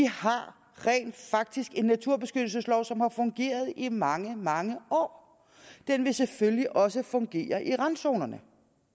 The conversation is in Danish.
har rent faktisk en naturbeskyttelseslov som har fungeret i mange mange år den vil selvfølgelig også fungere i randzonerne